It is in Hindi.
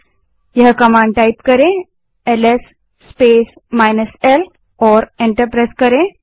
एलएस -l कमांड टाइप करें और एंटर दबायें